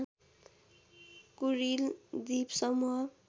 Kuril द्वीपसमूह